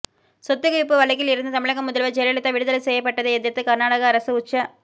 சொத்துக் குவிப்பு வழக்கில் இருந்து தமிழக முதல்வர் ஜெயலலிதா விடுதலை செய்யப்பட்டதை எதிர்த்து கர்நாடக அரசு உச்ச